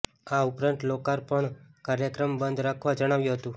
આ ઉપરાંત લોકાર્પણ કાર્યક્રમ બંધ રાખવા જણાવ્યુ હતું